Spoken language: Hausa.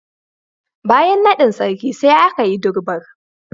Bayan naɗin Sarki, sai aka yi Durbar.